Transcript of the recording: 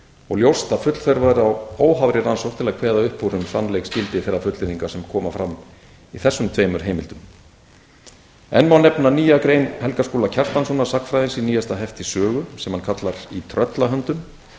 og ljóst að full þörf væri á óháðri rannsókn til að kveða upp úr um sannleiksgildi þeirra fullyrðinga sem koma fram í þessum tveimur heimildum enn má nefna nýja grein helga skúla kjartanssonar sagnfræðings í nýjasta hefti sögu sem hann kallar í tröllahöndum